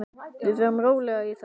Við förum rólega í þetta.